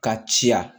Ka ciya